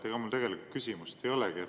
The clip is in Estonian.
Ega mul tegelikult küsimust ei olegi.